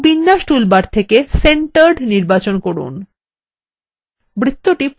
এখন বিন্যাস toolbar থেকে centered নির্বাচন করুন